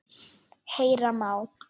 Heyra má